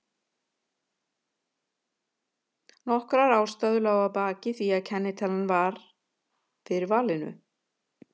Nokkrar ástæður lágu að baki því að kennitalan varð fyrir valinu.